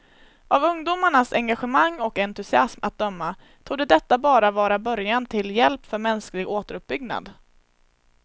Av ungdomarnas engagemang och entusiasm att döma torde detta bara vara början till hjälp för mänsklig återuppbyggnad.